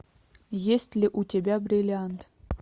есть ли у тебя бриллиант